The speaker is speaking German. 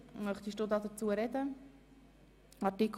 – Das ist nicht der Fall.